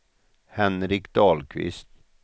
Henrik Dahlqvist